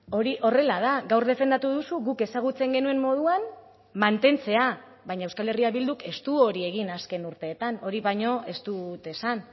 hori horrela da gaur defendatu duzu guk ezagutzen genuen moduan mantentzea baina euskal herria bilduk ez du hori egin azken urteetan hori baino ez dut esan